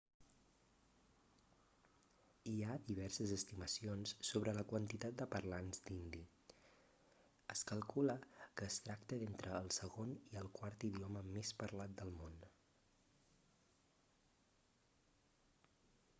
hi ha diverses estimacions sobre la quantitat de parlants d'hindi es calcula que es tracta d'entre el segon i el quart idioma més parlat del món